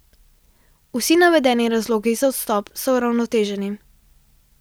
Vsi navedeni razlogi za odstop so uravnoteženi.